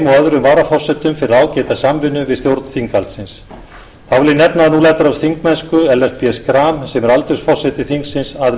öðrum varaforsetum fyrir ágæta samvinnu við stjórn þinghaldsins þá vil ég nefna að nú lætur af þingmennsku ellert b schram sem er aldursforseti þingsins að